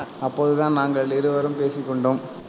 அப்போதுதான் நாங்கள் இருவரும் பேசிக்கொண்டோம்.